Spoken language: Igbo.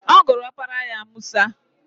Ọ gụrụ opara ya Musa.